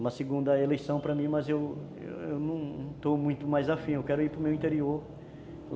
uma segunda eleição para mim, mas eu não estou muito mais a fim, eu quero ir para o meu interior.